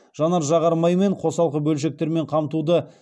жанар жағар маймен қосалқы бөлшектермен қамтуда